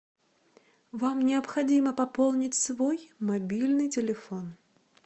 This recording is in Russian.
вам необходимо пополнить свой мобильный телефон